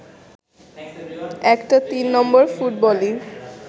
একটা ৩ নম্বর ফুটবলই